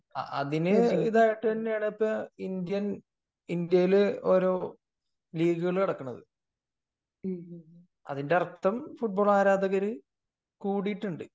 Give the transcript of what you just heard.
അതിനു ഇത് ആയിട്ടു തന്നെയാണ് ഇപ്പൊ ഇന്ത്യയിൽ ഒരു ലീഗുകൾ നടക്കുന്നത് . അതിന്റെ അർഥം ഫുട്ബാൾ ആരാധകർ കൂടിയിട്ടുണ്ട്